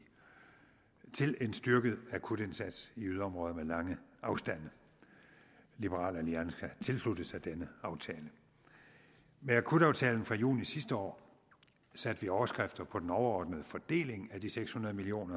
til en styrket akutindsats i yderområder med lange afstande liberal alliance har tilsluttet sig den aftale med akutaftalen fra juni sidste år satte vi overskrifter på den overordnede fordeling af de seks hundrede million